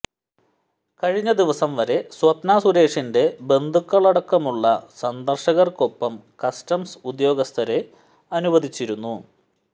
കഴിഞ്ഞ ദിവസംവരെ സ്വപ്ന സുരേഷിന്റെ ബന്ധുക്കളടക്കമുള്ള സന്ദര്ശകര്ക്കൊപ്പം കസ്റ്റംസ് ഉദ്യോഗസ്ഥരെ അനുവദിച്ചിരുന്നു